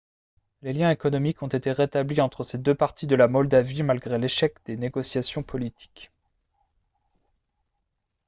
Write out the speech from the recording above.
les liens économiques ont été rétablis entre ces deux parties de la moldavie malgré l'échec des négociations politiques